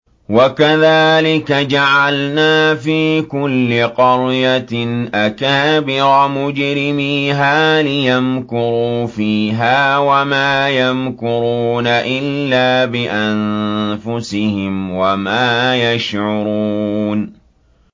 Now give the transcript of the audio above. وَكَذَٰلِكَ جَعَلْنَا فِي كُلِّ قَرْيَةٍ أَكَابِرَ مُجْرِمِيهَا لِيَمْكُرُوا فِيهَا ۖ وَمَا يَمْكُرُونَ إِلَّا بِأَنفُسِهِمْ وَمَا يَشْعُرُونَ